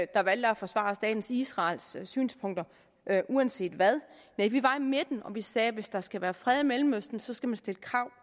der valgte at forsvare staten israels synspunkter uanset hvad nej vi var i midten og vi sagde at hvis der skal være fred i mellemøsten skal man stille krav